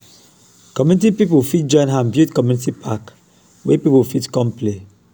community pipo fit join hand build community park wey pipo fit come play